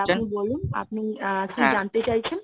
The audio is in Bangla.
sir আপনি বলুন আপনি আহ কি জানতে চাইছেন?